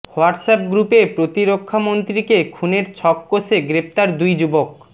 WhatsApp গ্রুপে প্রতিরক্ষামন্ত্রীকে খুনের ছক কষে গ্রেফতার দুই যুবক